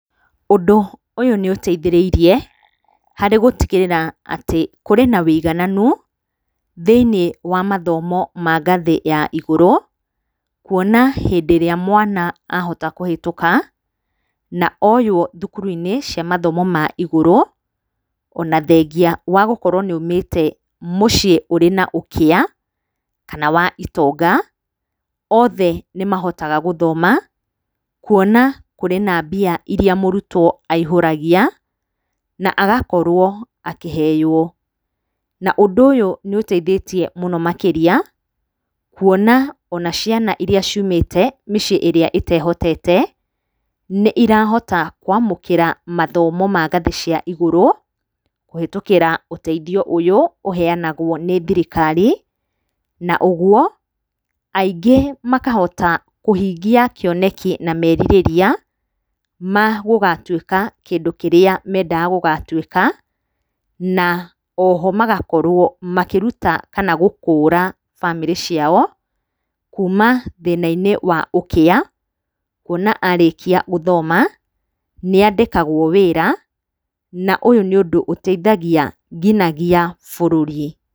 Ũndũ ũyũ nĩũteithĩrĩirie harĩ gũtigĩrĩra atĩ kũrĩ na ũigananu thĩinĩ wa mathomo ma ngathĩ ya igũrũ. Kuona hĩndĩ ĩrĩa mwana ahota kũhetũka na oywo thukuru-inĩ cia mathomo ma igũrũ, ona thengia wa gũkorwo nĩ aumĩte mũciĩ ũrĩ na ũkĩa kana wa itonga, othe nĩmahotaga gũthoma kuona kũrĩ na mbia iria mũrutwo aihũragia na agakorwo akĩheywo. Na ũndũ ũyũ nĩũteithĩtie mũno makĩria kuona ona ciana iria ciumĩte mĩciĩ ĩrĩa ĩtehotete nĩirahota kwamũkĩra mathomo ma ngathĩ cia igũrũ kĩhĩtũkĩra ũteithio ũyũ ũheyanagwo nĩ thirikari. Na ũguo aingĩ makahota kũhingia kĩoneki na merirĩria ma gũgatuĩka kĩndũ kĩrĩa mendaga gũgatuĩka. Na oho magakorwo makĩruta kana gũkũra bamĩrĩ ciao kuma thĩna-inĩ wa ũkĩa kuona arĩkia gũthoma nĩandĩkagwo wĩra na ũyũ nĩ ũndũ ũteithagia nginya bũrũri.